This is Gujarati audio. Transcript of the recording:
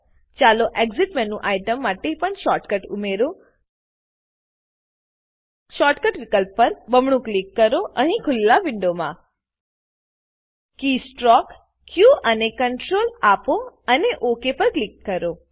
ચાલો એક્સિટ એક્ઝીટ મેનુઆઇટમ માટે પણ શોર્ટકટ ઉમેરીએ શોર્ટકટ વિકલ્પ પર બમણું ક્લિક કરો અહીં ખુલેલા વિન્ડોમાં કે સ્ટ્રોક કી સ્ટ્રોક ક અને Ctrl આપો અને ઓક પર ક્લિક કરો